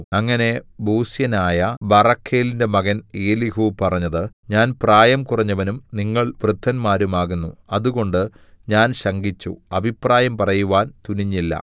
അങ്ങനെ ബൂസ്യനായ ബറഖേലിന്റെ മകൻ എലീഹൂ പറഞ്ഞത് ഞാൻ പ്രായം കുറഞ്ഞവനും നിങ്ങൾ വൃദ്ധന്മാരും ആകുന്നു അതുകൊണ്ട് ഞാൻ ശങ്കിച്ചു അഭിപ്രായം പറയുവാൻ തുനിഞ്ഞില്ല